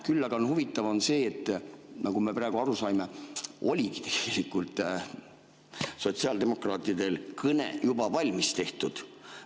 Küll aga on huvitav see, nagu me praegu aru saime, et oligi tegelikult sotsiaaldemokraatidel kõne juba valmis tehtud.